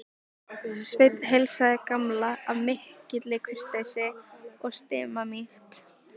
Sveinn heilsaði Gamla af mikilli kurteisi og stimamýkt.